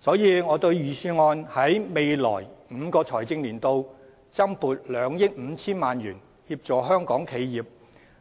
所以，預算案在未來5個財政年度增撥2億 5,000 萬元協助香港企業，